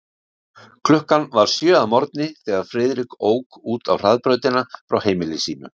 Klukkan var sjö að morgni, þegar Friðrik ók út á hraðbrautina frá heimili sínu.